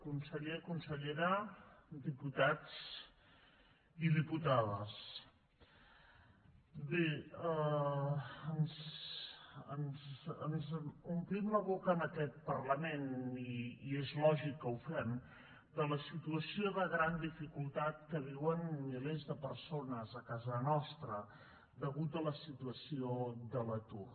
conseller consellera diputats i diputades bé ens omplim la boca en aquest parlament i és lògic que ho fem de la situació de gran dificultat que viuen milers de persones a casa nostra a causa de la situació de l’atur